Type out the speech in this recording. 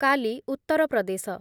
କାଲି , ଉତ୍ତର ପ୍ରଦେଶ